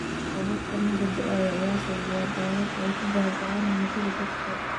Roobabkan oo hadda da’aya ayaa sababa daadad ay ku baaba’aan hantida dadka.